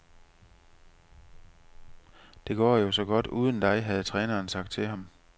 Det går jo så godt uden dig, havde træneren sagt til ham.